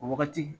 O wagati